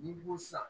N'i ko sisan